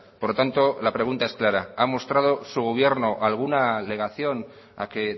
por lo tanto la pregunta es clara ha mostrado su gobierno alguna alegación a que